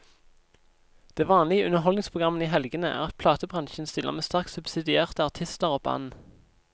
Det vanlige i underholdningsprogrammene i helgene er at platebransjen stiller med sterkt subsidierte artister og band.